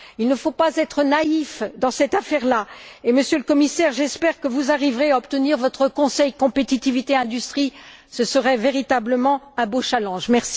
Il ne faut pas être naïfs dans cette affaire et, Monsieur le Commissaire, j'espère que vous arriverez à obtenir votre Conseil sur la compétitivité et l'industrie, ce serait véritablement un beau défi.